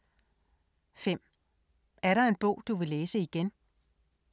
5) Er der en bog du vil læse igen?